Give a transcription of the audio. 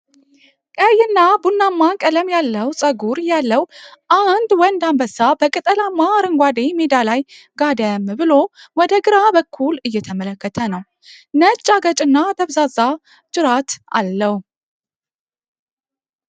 ቀይና ቡናማ ቀለም ያለው ፀጉር ያለው አንድ ወንድ አንበሳ በቅጠላማ አረንጓዴ ሜዳ ላይ ጋደም ብሎ ወደ ግራ በኩል እየተመለከተ ነው። ነጭ አገጭና ደብዛዛ ጅራት አለው።